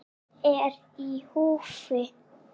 Hvað er í húfi?